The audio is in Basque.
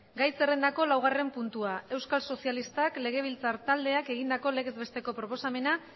gai zerrendako laugarren puntua euskal sozialistak legebiltzar taldeak egindako legez besteko proposamena